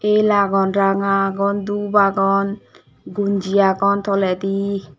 el agon ranga agon doob agon gonji agon toledi.